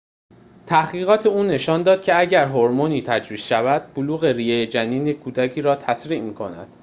تحقیقات او نشان داد که اگر هورمونی تجویز شود بلوغ ریه جنینی کودک را تسریع می‌کند